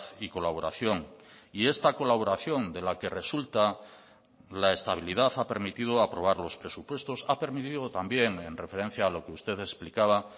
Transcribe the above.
y colaboración y esta colaboración de la que resulta la estabilidad ha permitido aprobar los presupuestos ha permitido también en referencia a lo que usted explicaba